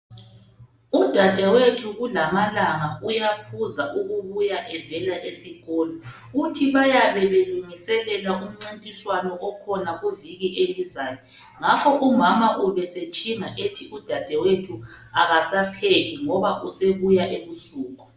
Udadewethu kulamalanga uyaphuza ukubuya evela esikolo. Uthi bayabe belungiselela umncintiswano okhona kuviki elizayo ngakho umama ubesetshinga ethi udadewethu akasapheki ngoba usebuya ebusuku.